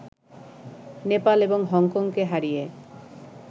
নেপাল এবং হংকংকে হারিয়ে